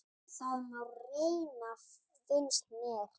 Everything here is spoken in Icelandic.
Það má reyna, finnst mér.